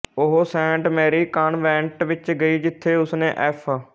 ਉਹ saint Mary convent ਵਿੱਚ ਗਈ ਜਿੱਥੇ ਉਸਨੇ ਐਫ